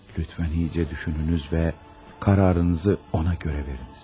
Zəhmət olmasa yaxşıca düşünün və qərarınızı ona görə verin.